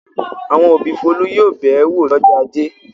Àwọn òbí Folú yóò bẹ̀ ẹ́ wò lọ́jọ́ ajé.